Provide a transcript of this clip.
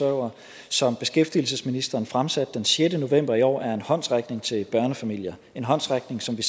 og som beskæftigelsesministeren fremsatte den sjette november i år er en håndsrækning til børnefamilier en håndsrækning som vi